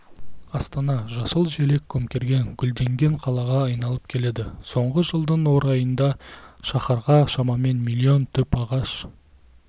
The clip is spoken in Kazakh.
астана жасыл желек көмкерген гүлденген қалаға айналып келеді соңғы жылдың орайында шаһарға шамамен миллион түп ағаш